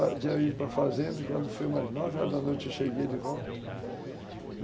Eu tinha ido para a fazenda e quando foi umas nove horas da noite eu cheguei de volta.